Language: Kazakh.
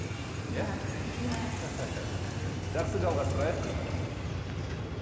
жақсы жалғастырайық